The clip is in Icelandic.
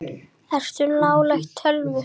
Ertu nálægt tölvu?